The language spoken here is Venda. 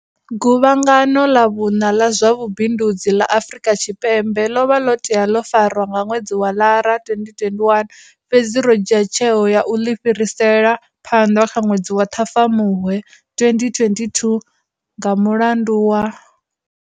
Guvhangano ḽa vhuṋa ḽa zwa vhubindudzi ḽa Afrika Tshipembe ḽo vha ḽo tea ḽo farwa nga ṅwedzi wa Lara 2021, fhedzi ro dzhia tsheo ya u ḽi fhirisela phanḓa kha ṅwedzi wa Ṱhafamuhwe 2022 nga mulandu wa.